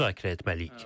Nəyi müzakirə etməliyik?